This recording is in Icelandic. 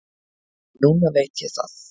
En núna veit ég það.